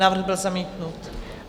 Návrh byl zamítnut.